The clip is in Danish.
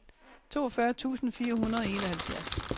toogfyrre tusind fire hundrede og enoghalvfjerds